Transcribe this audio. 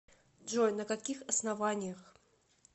джой на каких основаниях